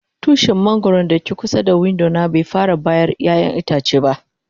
Tushin mangoro da ke kusa da window na bai fara bayar ƴayan itace ba.